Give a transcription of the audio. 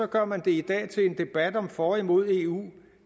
gør man det i dag til en debat om for og imod eu